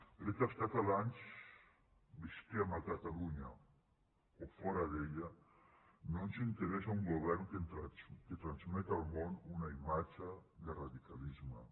perquè als catalans visquem a catalunya o fora d’ella no ens interessa un govern que transmet al món una imatge de radicalisme